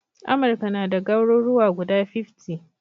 Amurka nada garuruwa guda fiftty